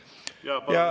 Kolm minutit.